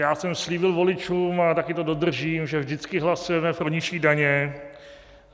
Já jsem slíbil voličům, a taky to dodržím, že vždycky hlasujeme pro nižší daně.